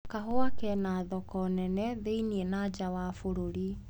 Kahũa kena thoko nene thĩini na nja wa bũruri.